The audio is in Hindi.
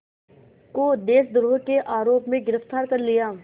को देशद्रोह के आरोप में गिरफ़्तार कर लिया